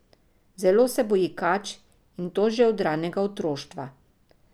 Zelo se boji kač, in to že od ranega otroštva.